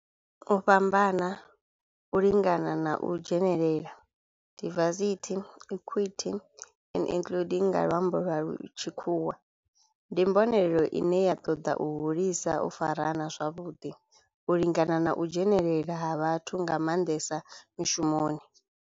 U fhambana, u lingana na u dzhenelela, diversity, equity and including nga lwambo lwa tshikhuwa, ndi mbonelelo ine ya toda u hulisa u farana zwavhudi, u lingana na u dzhenelela ha vhathu nga mandesa mishumoni.